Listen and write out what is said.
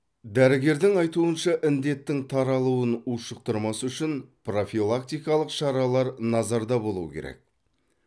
дәрігердің айтуынша індеттің таралуын ушықтырмас үшін профилактикалық шаралар назарда болуы керек